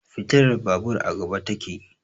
Fitilar babur a gaba ta ke